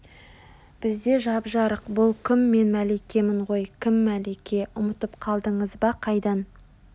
бізде жап-жарық бұл кім мен мәликемін ғой кім мәлике Ұмытып қалдыңыз ба Қайдан